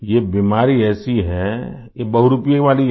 ये बीमारी ऐसी है ये बहुरूपिये वाली है